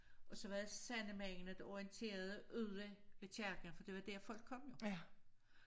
Og var det sandemændene der orienterede ude ved kirkerne for det var dér folk kom jo